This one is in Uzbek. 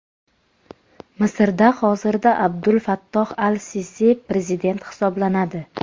Misrda hozirda Abdul Fattoh al-Sisi prezident hisoblanadi.